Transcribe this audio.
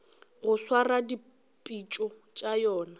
go swara dipitšo tša yona